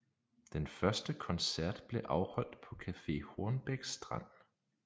Den første koncert blev afholdt på Café Hornbæk Strand